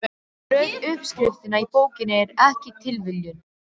Röð uppskriftanna í bókinni er ekki tilviljun.